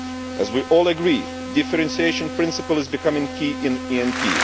As we all agree, the differentiation principle is becoming key in the ENP.